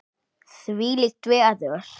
Þvílíkt veður!